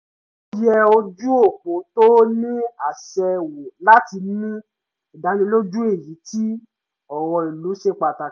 ó yẹ ojú òpó tó ní àṣẹ wò láti ní ìdánilójú èyí tí ọ̀rọ̀ ìlú ṣe pàtàkì